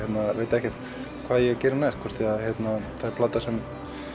veit ekkert hvað ég geri næst hvort það er plata sem